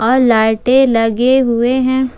और लाइटें लगे हुए हैं।